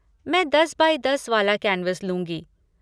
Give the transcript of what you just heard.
मैं दस बाई दस वाला कैन्वस लूँगी।